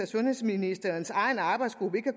sundhedsministerens egen arbejdsgruppe ikke